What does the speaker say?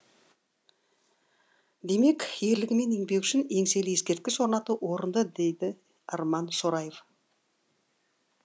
демек ерлігі мен еңбегі үшін еңселі ескерткіш орнату орынды дейді арман шораев